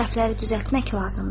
Səhvləri düzəltmək lazımdır.